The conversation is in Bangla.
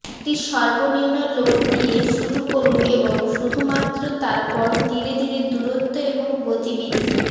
একটি সর্বনিম্ন লোড দিয়ে শুরু করুন এবং শুধুমাত্র তারপর ধীরে ধীরে দূরত্ব এবং গতি বৃদ্ধি